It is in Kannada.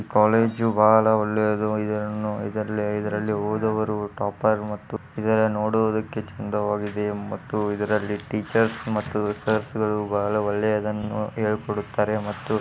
ಕಾಲೇಜು ಬಹಳ ಒಳ್ಳೆಯದು ಇದ್ರಲ್ಲಿ ಇದ್ರಲ್ಲಿ ಓದೋವರು ಟಾಪರ್ ಮತ್ತು ಇದು ನೋಡುದಕ್ಕೆ ಚೆನ್ನಾಗಿದೆ ಇದ್ರಲ್ಲಿ ಟೀಚರ್ಸ್ ಮತ್ತೆ ಸರ್ಸ್ಗಳು ಬಹಳ ಒಳೆಯದನ್ನು ಹೇಳ್ ಕೊಡ್ತಾರೆ.